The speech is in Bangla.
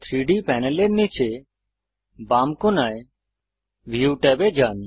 3ডি প্যানেলের নীচে বাম কোণায় ভিউ tab এ যান